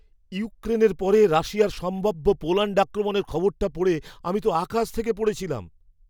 ইউক্রেনের পরে রাশিয়ার সম্ভাব্য পোল্যাণ্ড আক্রমণের খবরটা পড়ে আমি তো আকাশ থেকে পড়েছিলাম!